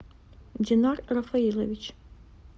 динар рафаилович